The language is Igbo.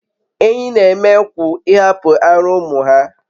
Ehi n'eme kwu ihapu ara umu ha